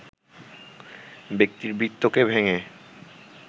ব্যক্তির বৃত্তকে ভেঙে